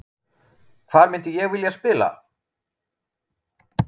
Hvar myndi ég vilja spila?